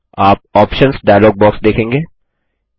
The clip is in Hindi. आप ऑप्शन्स डायलॉग बॉक्स देखेंगे